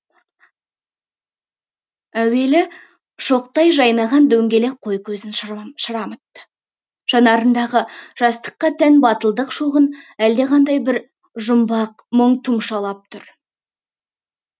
әуелі шоқтай жайнаған дөңгелек қой көзін шырамытты жанарындағы жастыққа тән батылдық шоғын әлдеқандай бір жұмбақ мұң тұмшалап тұр